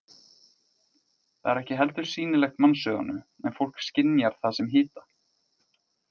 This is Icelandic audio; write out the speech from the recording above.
Það er ekki heldur sýnilegt mannsauganu en fólk skynjar það sem hita.